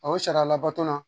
o sariya labato